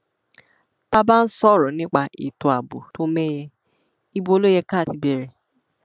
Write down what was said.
tá a bá ń sọrọ nípa ètò ààbò tó mẹhẹ ibo ló yẹ ká ti bẹrẹ